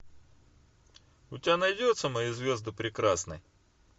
у тебя найдется мои звезды прекрасны